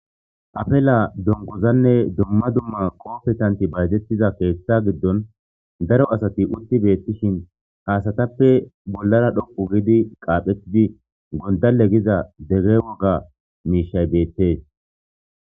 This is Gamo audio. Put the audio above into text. Afela donkozanne dumma dumma qoofetanti baydettiza keeththa giddon daro asati utti beettishin haasatappe bollara dhoqu giidi qaaphettidi gondale giza degge woga miishay beettes.